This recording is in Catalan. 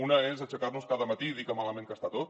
una és aixecar nos cada matí i dir que malament que està tot